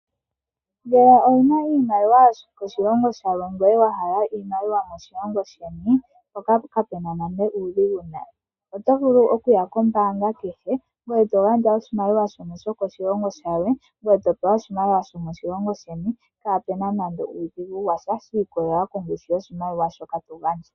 Ngele owuna iimaliwa yomoshilongo shilwe ndele owa hala iimaliwa yo moshilongo sheni, mpoka kape na nande uudhigu washa. Oto vulu okuya kombaanga kehe eto gandja oshimaliwa shono shoko shilongo shilwe, ngwe topewa oshimaliwa sho moshilongo sheni pwaana nando uudhigu washa, shi ikolelela kongushu yoshimaliwa shoka to gandja.